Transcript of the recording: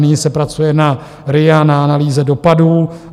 Nyní se pracuje na RIA, na analýze dopadů.